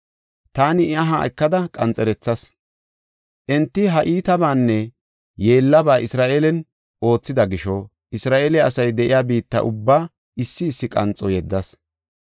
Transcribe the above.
Taani I aha ekada qanxerethas; enti ha iitabaanne yeellaba Isra7eelen oothida gisho Isra7eele asay de7iya biitta ubbaa issi issi qanxo yedas.